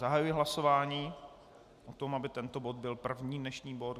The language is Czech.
Zahajuji hlasování o tom, aby tento bod byl první dnešní bod.